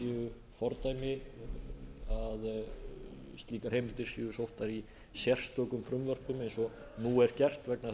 séu fordæmi að slíkar heimildir séu sóttar í sérstökum frumvörpum eins og nú er gert vegna